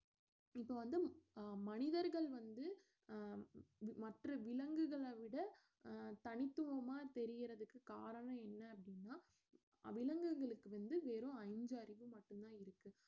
இப்ப வந்து அஹ் மனிதர்கள் வந்து அஹ் மற்ற விலங்குகளை விட அஹ் தனித்துவமா தெரியறதுக்கு காரணம் என்ன அப்படின்னா விலங்குகளுக்கு வந்து வெறும் அஞ்சறிவு மட்டும்தான் இருக்கு